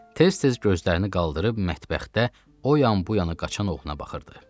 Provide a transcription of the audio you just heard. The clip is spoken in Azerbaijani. Tez-tez gözlərini qaldırıb mətbəxdə o yan-bu yana qaçan oğluna baxırdı.